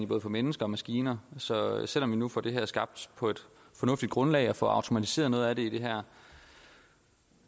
både for mennesker og maskiner så selv om vi nu får det her skabt på et fornuftigt grundlag og får automatiseret noget af det i det her